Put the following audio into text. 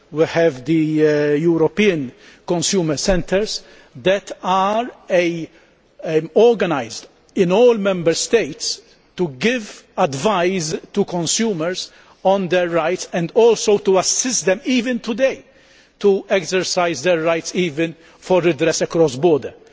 we have the European consumer centres that are organised in all Member States to give advice to consumers on their rights, and also to assist them, even today, to exercise their rights, even for redress across borders.